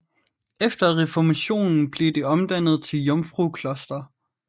Efter reformationen blev det omdannet til jomfrukloster